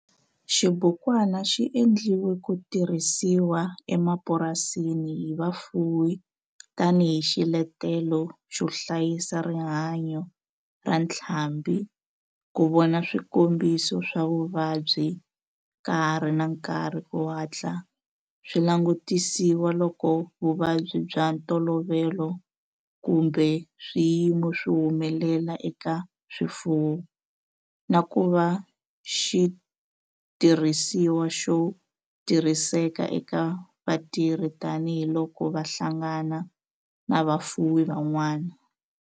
Xibukwana xi endliwe ku tirhisiwa emapurasini hi vafuwi tani hi xiletelo xo hlayisa rihanyo ra ntlhambhi, ku vona swikombiso swa vuvabyi ka ha ri na nkarhi ku hatla swi langutisiwa loko vuvabyi bya ntolovelo kumbe swiyimo swi humelela eka swifuwo, na ku va xitirhisiwa xo tirhiseka eka vatirhi tani hi loko va hlangana na vafuwi van'wana.